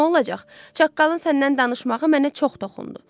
Çağqalın səndən danışmağı mənə çox toxundu.